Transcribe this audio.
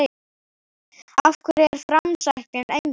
Af hverju er framsæknin engin?